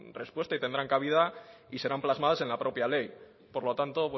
respuesta y tendrán cabida y serán plasmadas en la propia ley por lo tanto